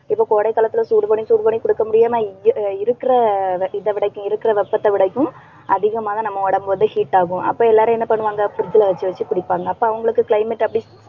இப்ப கோடை காலத்துல சூடு பண்ணி சூடு பண்ணி குடிக்க முடியாம இருக்கிற இதை விடைக்கும் இருக்கிற வெப்பத்தை விடைக்கும், அதிகமாக நம்ம உடம்பு வந்து heat ஆகும். அப்ப எல்லாரும் என்ன பண்ணுவாங்க? fridge ல வச்சு வச்சு குடிப்பாங்க. அப்ப அவங்களுக்ககு climate அப்படி